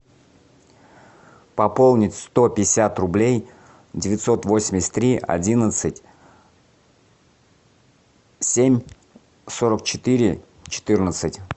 пополнить сто пятьдесят рублей девятьсот восемьдесят три одиннадцать семь сорок четыре четырнадцать